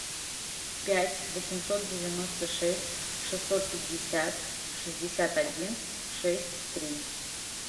пять восемьсот девяносто шесть шестьсот пятьдесят шестьдесят один шесть три